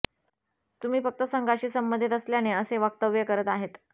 तुम्ही फक्त संघाशी संबंधीत असल्याने असे वक्तव्य करत आहेत